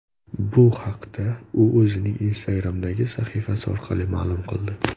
Bu haqida u o‘zining Instagram’dagi sahifasi orqali ma’lum qildi .